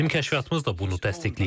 Bizim kəşfiyyatımız da bunu təsdiqləyir.